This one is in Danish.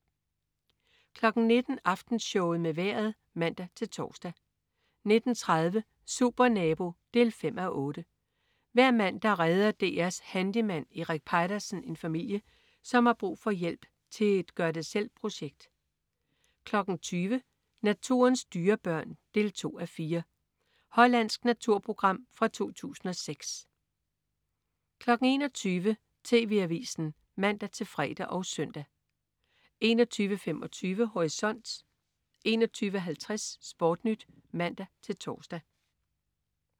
19.00 Aftenshowet med Vejret (man-tors) 19.30 Supernabo 5:8. Hver mandag redder DR's handyman Erik Peitersen en familie, som har brug for hjælp til et gør det selv-projekt 20.00 Naturens dyrebørn 2:4. Hollandsk naturprogram fra 2006 21.00 TV Avisen (man-fre og søn) 21.25 Horisont 21.50 SportNyt (man-tors)